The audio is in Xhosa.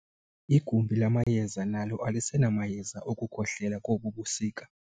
Igumbi lamayeza nalo alisenamayeza okukhohlela kobu busika.